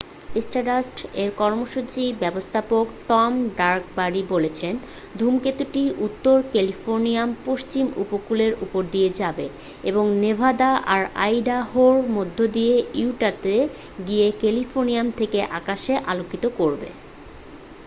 স্টারডাস্ট-এর কর্মসূচি ব্যবস্থাপক Tom Duxbury বলেছেন ধূমকেতুটি উত্তর ক্যালিফোর্নিয়ার পশ্চিম উপকূলের উপর দিয়ে যাবে এবং নেভাদা আর আইডাহোর মধ্য দিয়ে ইউটাতে গিয়ে ক্যালিফোর্নিয়া থেকে আকাশকে আলোকিত করবে